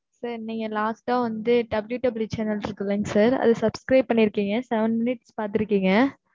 sir நீங்க last ஆ வந்து, WWE channels இருக்குல்ல, sir அதை subscribe பண்ணியிருக்கீங்க. seven minutes பார்த்திருக்கீங்க.